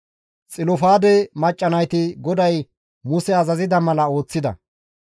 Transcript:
Xilofaade macca nayti GODAY Muse azazida mala ooththida.